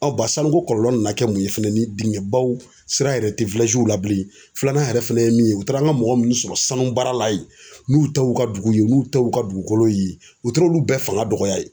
sanuko kɔlɔlɔ nana kɛ mun ye fɛnɛ ni diŋɛbaw sira yɛrɛ tɛ la bilen filanan yɛrɛ fɛnɛ ye min ye u taara an ka mɔgɔ minnu sɔrɔ sanu baara la ye n'u ta ye u ka dugu n'u ta ye u ka dugukolo ye, u taara olu bɛɛ fanga dɔgɔya yen.